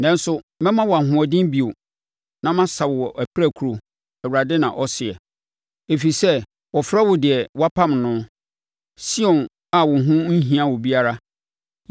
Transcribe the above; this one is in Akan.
Nanso mɛma wo ahoɔden bio na masa wo apirakuro,’ Awurade na ɔseɛ, ‘ɛfiri sɛ wɔfrɛ wo deɛ wɔapam noɔ, Sion a wo ho nhia obiara.’